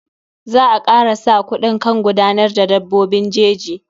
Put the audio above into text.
Za a kara sa kuɗi kan gudanar da dabbobin jeji.